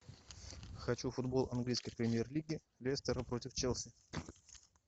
хочу футбол английской премьер лиги лестера против челси